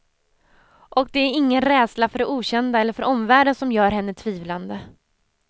Och det är ingen rädsla för det okända eller för omvärlden som gör henne tvivlande.